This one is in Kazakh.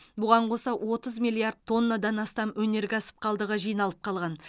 бұған қоса отыз миллиад тоннадан астам өнеркәсіп қалдығы жиналып қалған